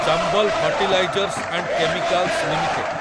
Chambal fertilisers and chemicals limited